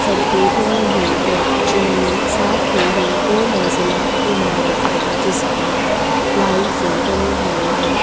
सड़कें बनी हुई हैं जिनमें साथ में ही दो मंजिला इमारत है जिसमें लाइन से बनी हुई हैं।